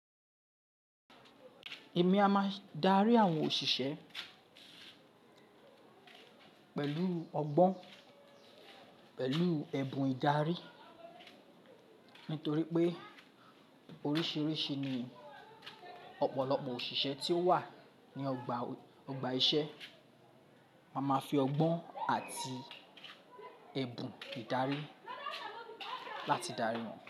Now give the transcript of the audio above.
Èmi a máa darí àwọn òṣìṣẹ́ pẹ̀lú ọgbọ́n, pẹ̀lú ẹ̀bùn ìdarí. Nítorí pé oríṣiríṣi ni ọ̀pọ̀lọpọ̀ òṣìṣẹ́ tí ó wà ní ọgbà, ọgbà ìṣẹ́. A máa ma fi ọgbọ́n àti ẹ̀bùn ìdarí láti dari wọn.